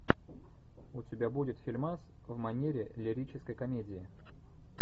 у тебя будет фильмас в манере лирической комедии